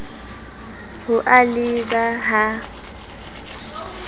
ho a le b ha